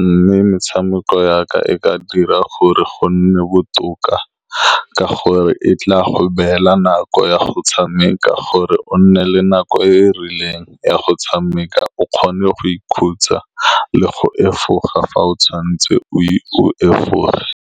mme metshameko ya ka e ka dira gore go nne botoka, ka gore e tla go beela nako ya go tshameka, gore o nne le nako e e rileng ya go tshameka, o kgone go ikhutsa le go efoga fa o tshwantse o efoge.